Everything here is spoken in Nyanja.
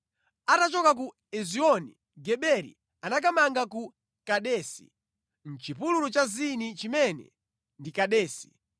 Atachoka ku Ezioni-Geberi anakamanga ku Kadesi, mʼchipululu cha Zini chimene ndi Kadesi.